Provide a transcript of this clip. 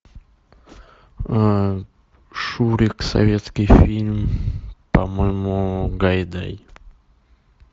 шурик советский фильм по моему гайдай